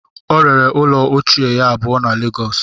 O rere ụlọ ochie ya abụọ na lagos